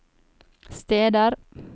steder